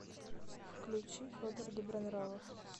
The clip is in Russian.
включи федор добронравов